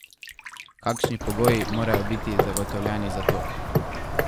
Kakšni pogoji morajo biti zagotovljeni za to?